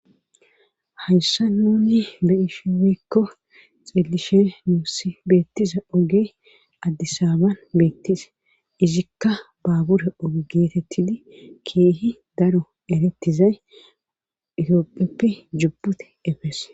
Hayssan nuuni be'ishe woykko xeelishe beetiza oge adisaaba beetees. izikka babure oge geetetidi keehi daro itopheppe jubute efees.eretizay